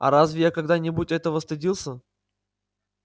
а разве я когда-нибудь этого стыдился